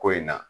Ko in na